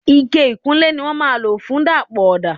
Ike ìkunlé ni wọ́n máa ń lo fun dapọ ọda.